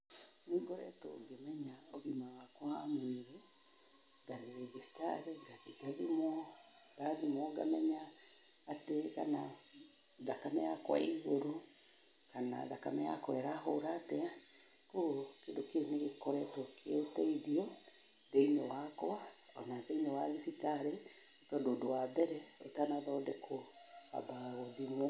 Nĩ ngoretwo ngĩmenya ũgima wakwa wa mwĩrĩ, ngagera thibitarĩ ngathi ngathimwo. Ndathimwo, ngamenya atĩ kana thakame yakwa ĩ igũrũ kana thakame yakwa ĩrahũra atĩa. Kwoguo kĩndũ kĩu nĩ gĩkoretwo kĩ ũteithio thĩinĩ wakwa, o na thĩinĩ wa thibitarĩ, tondũ ũndũ wa mbere ũtanathondekwo wambaga gũthimwo.